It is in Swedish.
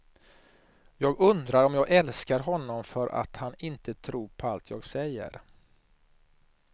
Jag undrar om jag älskar honom för att han inte tror på allt jag säger.